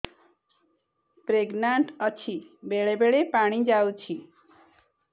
pregnant ଅଛି ବେଳେ ବେଳେ ପାଣି ଯାଉଛି